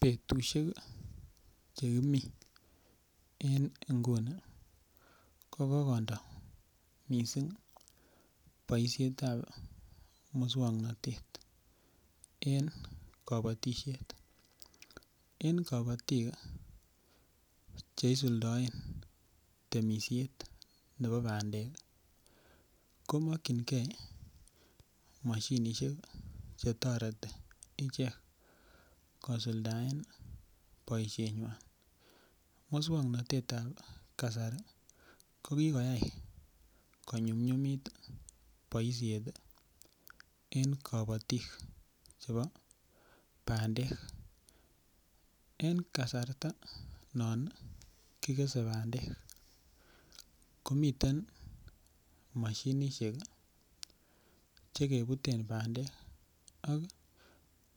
Betusiek Che kimi en nguni ko ki kondo mising boisiet ab moswoknatet en kabatisiet en kabatik Che isuldaen temisiet nebo bandek ko mokyingei mashinisiek Che toreti ichek kosuldaen boisienywa moswoknatetab ab kasari ko kiyai ko nyumnyumitu boisiet en kabatik chebo bandek en kasarta non kigese bandek komiten mashinisiek Che kebuten bandek ak